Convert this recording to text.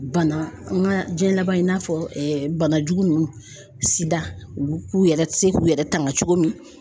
Bana an ka jiyɛn laban in i n'a fɔ banajugu ninnu SIDA ulu k'u yɛrɛ se k'u yɛrɛ tanga cogo min.